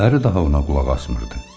Əri daha ona qulaq asmırdı.